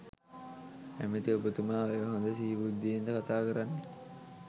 ඇමති ඔබතුමා ඔය හොඳ සිහි බුද්ධියෙන්ද කතා කරන්නේ.